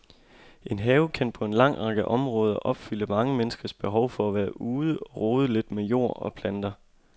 En have kan på en lang række områder opfylde mange menneskers behov for at være ude og rode lidt med jord og planter.